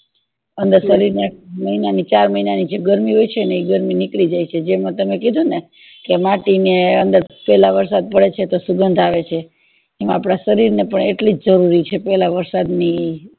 અને શરીર ને મહિનાની ચાર મહિના ની જે ગરમી હોય છે ને ઈ ગરમી નીકળી જય છે એમાં તમે કીધું ને કે માટી ની અંદર પેલા વરસાદ પડે છે ત્યારે સુગંધ આવે છે એમ આપદા શરીર ને પણ એટલી જરૂરી છે પેલા વરસાદ ની